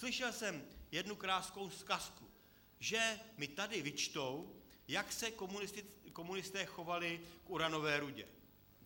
Slyšel jsem jednu krásnou zkazku, že mi tady vyčtou, jak se komunisté chovali k uranové rudě.